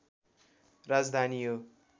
राजधानी हो